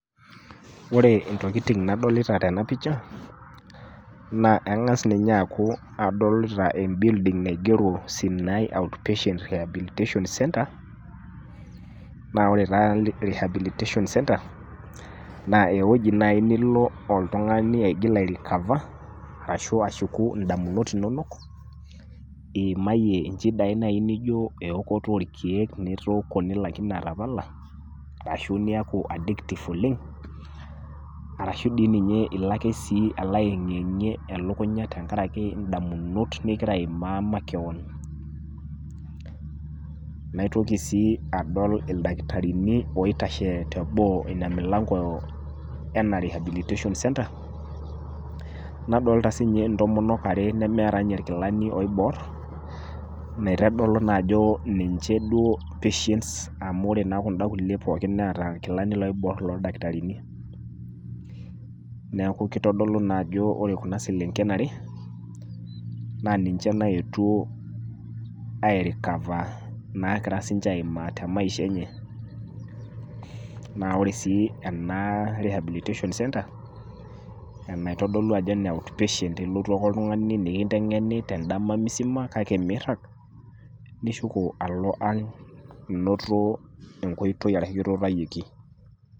Ore intokitin nadolita tena pisha, naa keng'asi ninye aaku adolita embilding' naigero ajo Sinai out patient rehabilitation center, naa ore oshi rehabilitation center naa ewueji naaji nilo oltung'ani aigil airikaf, ashu ashuku indamunot inono, iimaye inchidai naaji naijo eokoto olkeek litook naaji nilakino atapala, ashu niaki addictive oleng',arashu dei ninye ilo ake aeng'ieng'ie elukunya tenkaraki indamunot ningira aimaa makewan. Naitoki sii adol ildakitarini oitashe te boo Ina mulango ena rehabilitation center, nadolita sii ninche intomonok are nemeeta ilkilani oiboor, meitadolu naa duo ajo ninche duo patients amu ore kunda kulie pooki neata ilkilani oiboor o ildakitarini. Neaku naa keitodolu ajo Kore Kuna selenken are, naa ninche naetuo airikafa nagira aimaa naa sininche te maisha enye. Naa ore sii ena rehabilitation center enaitodolu ajo ene outpatient ilotu ake oltung'ani nekinteng'eni toldama misima kake mirag, nishuko alo ang' ainoto enkoitoi ashu kitutayioki.